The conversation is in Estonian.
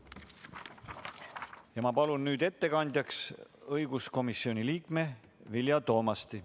Ma palun nüüd ettekandjaks õiguskomisjoni liikme Vilja Toomasti.